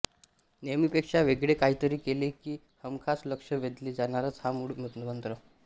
नेहमीपेक्षा वेगळे काहीतरी केले की हमखास लक्ष वेधले जाणारच हा मुळ मंत्र